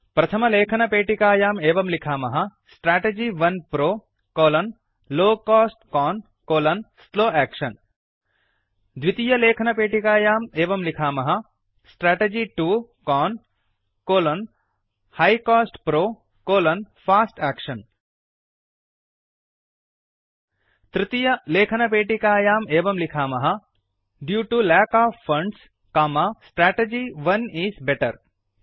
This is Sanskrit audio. प्रथम लेखनपेटिकायाम् एवं लिखामः strategy 1 PRO low cost CON slow action द्वितीय लेखनपेटिकायाम् एवं लिखामः strategy 2 CON high cost PRO fast action तृतीय लेखनपेटिकायाम् एवं लिखामः due to lack of funds strategy 1 is better